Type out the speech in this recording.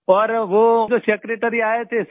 और वो जो सेक्रेटरी आये थे सर